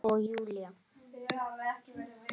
Og Júlía